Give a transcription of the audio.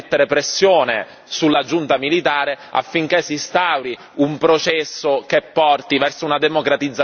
sulla giunta militare affinché si instauri un processo che porti verso una democratizzazione del paese.